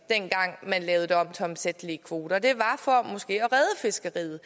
dengang man lavede det om til omsættelige kvoter at fiskeriet